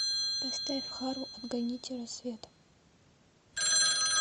поставь хару отгоните рассвет